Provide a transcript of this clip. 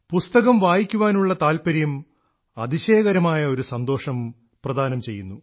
പുസ്തകം വായിക്കുവാനുള്ള താല്പര്യം അതിശയകരമായ ഒരു സന്തോഷം പ്രദാനം ചെയ്യുന്നു